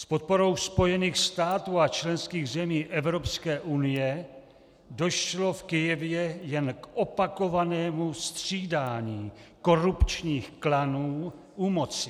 S podporou Spojených států a členských zemí Evropské unie došlo v Kyjevě jen k opakovanému střídání korupčních klanů u moci.